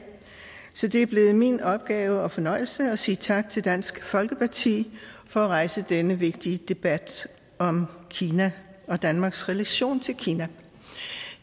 så det er blevet min opgave og fornøjelse at sige tak til dansk folkeparti for at rejse denne vigtige debat om kina og danmarks relation til kina